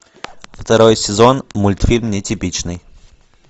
второй сезон мультфильм нетипичный